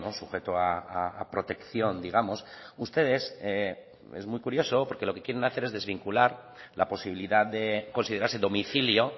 sujeto a protección digamos ustedes es muy curioso lo que quieren hacer es desvincular la posibilidad de considerarse domicilio